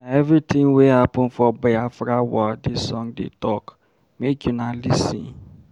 Na everytin wey happen for Biafra war dis song dey tok, make una lis ten.